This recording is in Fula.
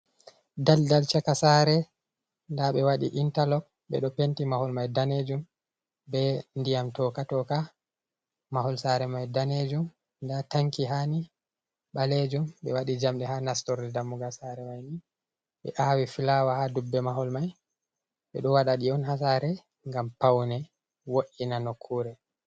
Ɗalɗal chaka sare. Nda bewadi intalok. Be ɗo penti mahol mai danejum be ndiyam toka-toka mahol sare mai danejum. nda tanki hani, baleju. Be waɗi jamɗe ha nastorɗe dammugal sare maini. Be aawi filawa ha ɗubbe mahol mai. Be ɗo waɗa ɗi on hasare ngam paune wo’’ina nokkure.